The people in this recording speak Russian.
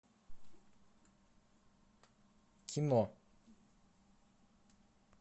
кино